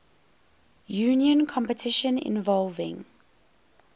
union competition involving